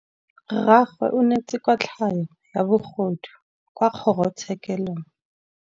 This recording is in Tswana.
Rragwe o neetswe kotlhaô ya bogodu kwa kgoro tshêkêlông.